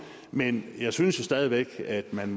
men jeg synes stadig væk at man